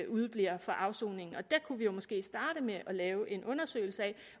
udebliver fra afsoning og der kunne vi måske starte med at lave en undersøgelse af